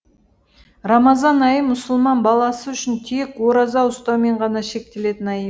рамазан айы мұсылман баласы үшін тек ораза ұстаумен ғана шектелетін ай